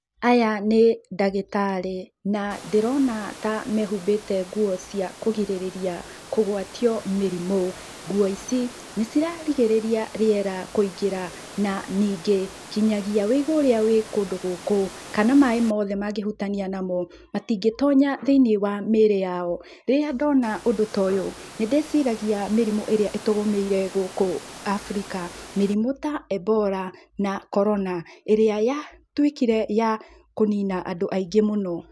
Aya nĩ ndagĩtarĩ, na ndĩrona ta mehumbĩte nguo cia kũrigĩrĩria kũgwatio mĩrimũ. Nguo ici nĩ ciragirĩrĩria rĩera kũingĩra na ningĩ kinyagia wũigũ ũrĩa wĩ kũndũ gũkũ, kana maĩ mothe mangĩhutania namo matingĩtonya thĩiniĩ wa mĩrĩ yao. Rĩrĩa ndona ũndũ ta ũyũ, nĩ ndĩciragia mĩrimũ ĩrĩa ĩtũgũmĩire gũkũ Abirika, mĩrimũ ta embora, na korona ĩrĩa yatuĩkire ya kũnina andũ aingĩ mũno.